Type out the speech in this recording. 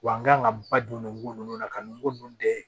Wa n kan ka ba don nugu ninnu na ka n ko nun den